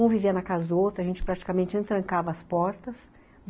Um vivia na casa do outro, a gente praticamente não trancava as portas.